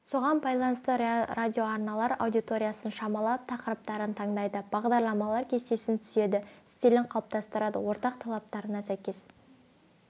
соған байланысты радиоарналар аудиториясын шамалап тақырыптарын таңдайды бағдарламалар кестесін түзеді стилін қалыптастырады ортақ талаптарына сәйкес